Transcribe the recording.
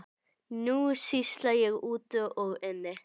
Nú sýsla ég úti og inni.